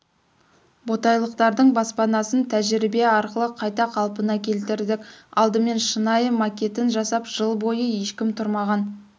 ботайлықтардың баспанасын тәжірбие арқылы қайта қалпына келтірдік алдымен шынай макетін жасап жыл бойы ешкім тұрмаған